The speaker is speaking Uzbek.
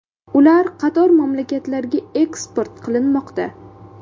Ular qator mamlakatlarga eksport qilinmoqda.